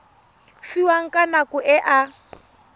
fiwang ka nako e a